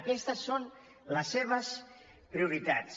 aquestes són les seves prioritats